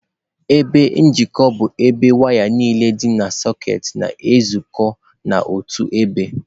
Igbe njikọ bụ ebe waya niile dị na sekit na-ezukọ n'otu ebe.